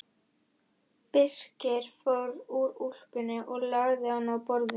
Birkir fór úr úlpunni og lagði hana á borðið.